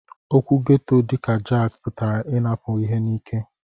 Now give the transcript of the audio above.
Okwu ghetto dika jaki putara inapu ihe n'ike.